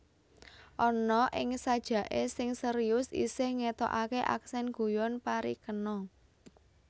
Ana ing sajake sing serius isih ngetokake aksen guyon parikena